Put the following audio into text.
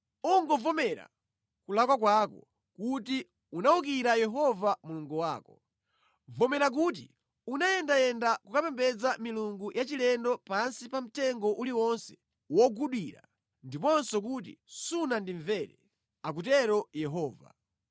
Ungovomera kulakwa kwako kuti unawukira Yehova Mulungu wako. Vomera kuti unayendayenda kukapembedza milungu yachilendo pansi pa mtengo uliwonse wogudira, ndiponso kuti sunandimvere,’ ” akutero Yehova.